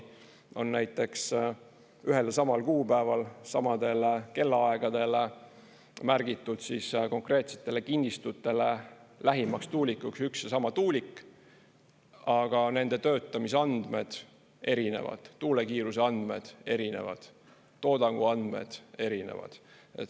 On näiteks ühel ja samal kuupäeval samadel kellaaegadel märgitud konkreetsetele kinnistutele lähimaks tuulikuks üks ja sama tuulik, aga nende töötamise andmed erinevad, tuule kiiruse andmed erinevad, toodangu andmed erinevad.